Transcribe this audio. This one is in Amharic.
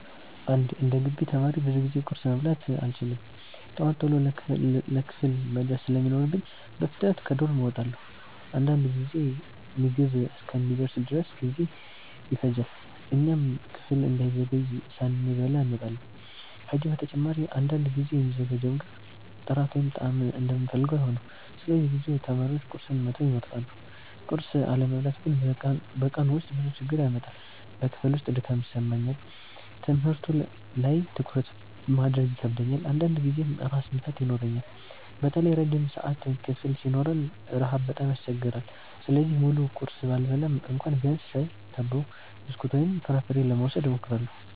11እንደ ግቢ ተማሪ ብዙ ጊዜ ቁርስ መብላት አልችልም። ጠዋት ቶሎ ለክፍል መድረስ ስለሚኖርብኝ በፍጥነት ከዶርም እወጣለሁ። አንዳንድ ጊዜ ምግብ እስኪደርስ ድረስ ብዙ ጊዜ ይፈጃል፣ እኛም ክፍል እንዳንዘገይ ሳንበላ እንወጣለን። ከዚህ በተጨማሪ አንዳንድ ጊዜ የሚዘጋጀው ምግብ ጥራት ወይም ጣዕም እንደምንፈልገው አይሆንም፣ ስለዚህ ብዙ ተማሪዎች ቁርስን መተው ይመርጣሉ። ቁርስ አለመብላት ግን በቀኑ ውስጥ ብዙ ችግር ያመጣል። በክፍል ውስጥ ድካም ይሰማኛል፣ ትምህርቱ ላይ ትኩረት ማድረግ ይከብደኛል፣ አንዳንድ ጊዜም ራስ ምታት ይኖረኛል። በተለይ ረጅም ሰዓት ክፍል ሲኖረን ረሃብ በጣም ያስቸግራል። ስለዚህ ሙሉ ቁርስ ባልበላም እንኳ ቢያንስ ሻይ፣ ዳቦ፣ ብስኩት ወይም ፍራፍሬ ለመውሰድ እሞክራለሁ።